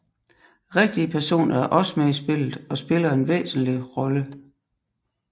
Rigtige personer er også med i spillet og spiller en væsentligt rolle